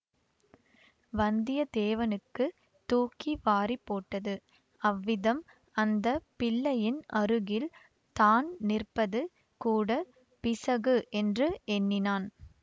வந்தியத்தேவனுக்குத் தூக்கி வாரிப்போட்டது அவ்விதம் அந்த பிள்ளையின் அருகில் தான் நிற்பது கூட பிசகு என்று எண்ணினான்